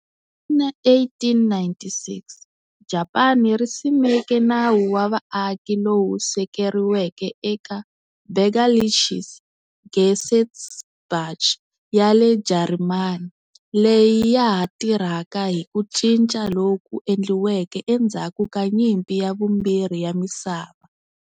Hi 1896, Japani ri simeke nawu wa vaaki lowu sekeriweke eka Bürgerliches Gesetzbuch ya le Jarimani, leyi ya ha tirhaka hi ku cinca loku endliweke endzhaku ka Nyimpi ya Vumbirhi ya Misava.